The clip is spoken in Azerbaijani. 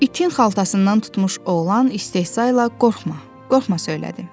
İtin xaltasından tutmuş oğlan istehzayla qorxma, qorxma söylədi.